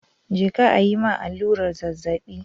Je ka ayi ma allurar zazzabi